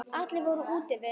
Allir voru úti við.